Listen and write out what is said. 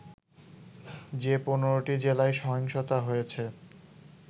যে ১৫টি জেলায় সহিংসতা হয়েছে